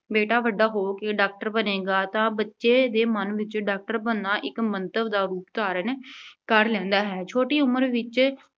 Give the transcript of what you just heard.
ਬੇਟਾ ਵੱਡਾ ਹੋ ਕੇ doctor ਬਣੇਗਾ ਤਾਂ ਬੱਚੇ ਦੇ ਮਨ ਵਿੱਚ doctor ਬਣਨਾ ਇੱਕ ਮੰਤਵ ਦਾ ਰੂਪ ਧਾਰਨ ਕਰ ਲੈਂਦਾ ਹੈ। ਛੋਟੀ ਉਮਰ ਵਿੱਚ